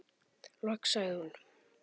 Loks sagði hún